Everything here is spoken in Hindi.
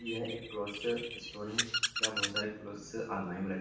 यह एक क्लॉथस स्टोर है जहाँ बहोत सारे क्लॉथस अलमारी में रख --